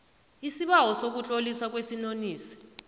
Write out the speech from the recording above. isibawo sokutloliswa kwesinonisi